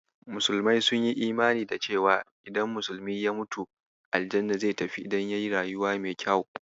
Musulmai sun yi imani da cewa idan musulmi ya mutu, aljanna zai tafi idan yayi rayuwa mai kyau.